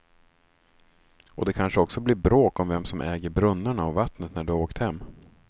Och det kanske också blir bråk om vem som äger brunnarna och vattnet när du har åkt hem.